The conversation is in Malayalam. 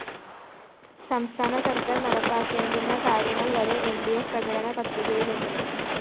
സംസ്ഥാന സര്‍ക്കാര്‍ നടപ്പാക്കേണ്ടുന്ന കാര്യങ്ങള്‍ വരെ ൽ ഡി ഫ്‌ പ്രകടന പത്രികയിലുണ്ട്